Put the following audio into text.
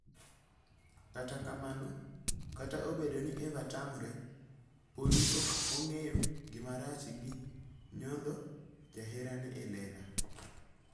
Kata kamano, kata obedo ni Eva tamore, podi ok ong'eyo gima rach gi nyodho jaherane e lela.